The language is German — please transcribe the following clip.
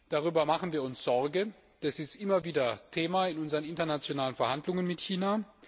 Darüber machen wir uns Sorgen, das ist immer wieder Thema in unseren internationalen Verhandlungen mit China.